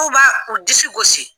F'u b'a u disi gosi